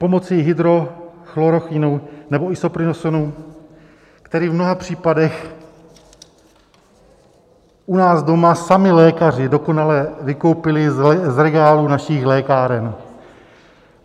Pomocí Hydroxychlorochinu nebo Isoprinosinu, který v mnoha případech u nás doma sami lékaři dokonale vykoupili z regálů našich lékáren.